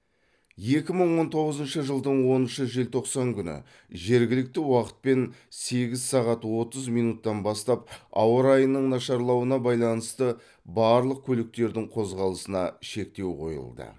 екі мың он тоғызыншы жылдың оныншы желтоқсан күні жергілікті уақытпен сегіз сағат отыз минуттан бастап ауа райының нашарлауына байланысты барлық көліктердің қозғалысына шектеу қойылды